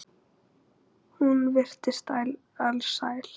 Hún virtist alsæl.